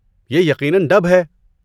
یہ یقیناً ڈب ہے۔